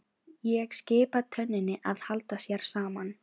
Ég skipa tönninni að halda sér saman.